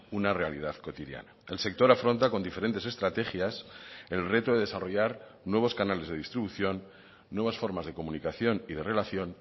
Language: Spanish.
una realidad cotidiana el sector afronta con diferentes estrategias el reto de desarrollar nuevos canales de distribución nuevas formas de comunicación y de relación